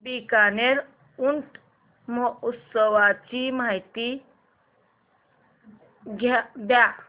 बीकानेर ऊंट महोत्सवाची माहिती द्या